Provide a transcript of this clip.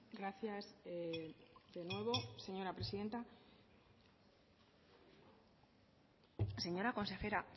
gracias de nuevo señora presidenta señora consejera